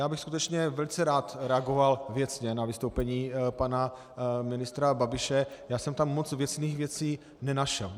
Já bych skutečně velice rád reagoval věcně na vystoupení pana ministra Babiše, já jsem tam moc věcných věcí nenašel.